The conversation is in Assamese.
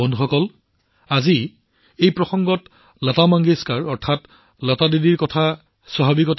বন্ধুসকল আজি এই উপলক্ষে লতা মংগেশকাৰ জী লতা দিদিক স্মৰণ কৰাটো মোৰ বাবে অতি স্বাভাৱিক